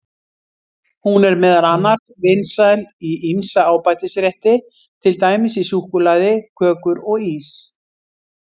Hún er meðal annars vinsæl í ýmsa ábætisrétti, til dæmis í súkkulaði, kökur og ís.